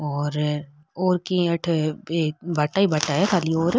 और और की अठे भाटा ही भाटा है खाली और --